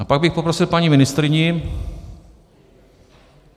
A pak bych poprosil paní ministryni...